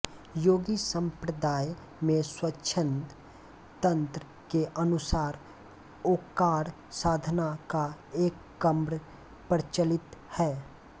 योगी सम्प्रदाय में स्वच्छन्द तन्त्र के अनुसार ओंकार साधना का एक क्रम प्रचलित है